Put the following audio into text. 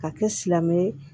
Ka kɛ silamɛ ye